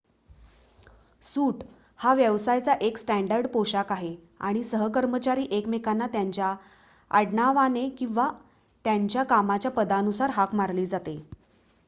सूट हा व्यवसायाचा एक स्टॅंडर्ड पोशाख आहे आणि सहकर्मचारी एकमेकांना त्यांच्या आडनावाने किंवा त्यांच्या कामाच्या पदानुसार हाक मारली जाते